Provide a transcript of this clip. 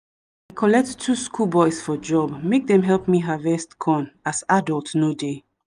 i collect two school boys for job make them help me harvest corn as adult no dey